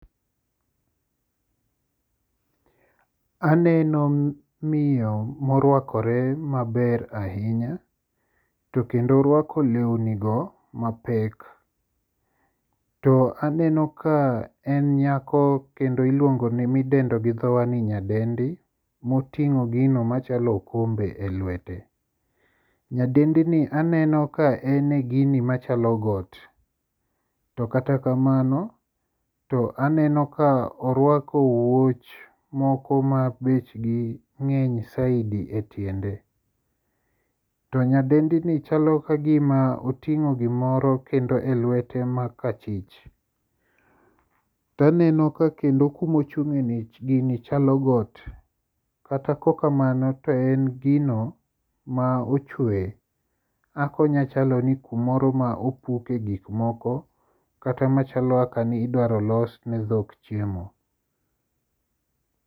Aneno miyo morwakore maber ahinya to kendo orwako lewnigo mapek to aneno ka en nyako kendo midendo gi dhowa ni nyadendi motingo gino machalo okombe e lwete. Nyadendini aneno ka en e gini machalo got to kata kamano, to aneno ka orwako wuoch moko ma bechgi ng'eny saidi e tiende to nyadendini chalo kagima oting'o gimoro kendo e lwete makachich. Taneno ka kendo kumochung'eni gini chalo got kata kokamano to en gino ma ochwe. Akonyachalo ni kumoro ma opuke gikmoko kata machalo kaka ni idwaro los ne dhok chiemo.